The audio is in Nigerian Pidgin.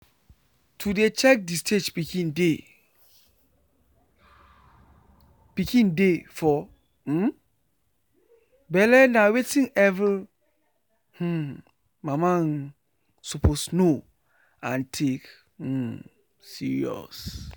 to dey check the stage pikin dey pikin dey for um belle na wetin every um mama um suppose know and take um serious.